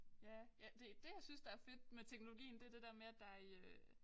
Ja ja det det jeg synes der fedt med teknologien det det der med at der i øh